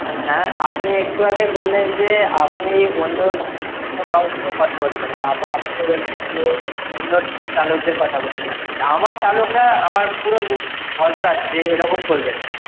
হ্যাঁ আপনি একটু আগে বললেন যে, আপনি অন্য~ অন্য কারোর নিয়ে কথা বলবেন না। আবার আপনিই বলছেন যে অন্য চালকদের কথা বলছেন। আমার চালকরা, আমার পুরো ভ~ ভরসা আছে যে এরকম করবে না।